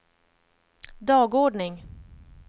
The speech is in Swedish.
dagordning